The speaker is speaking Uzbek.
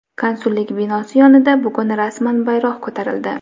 konsullik binosi yonida bugun rasman bayroq ko‘tarildi.